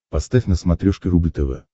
поставь на смотрешке рубль тв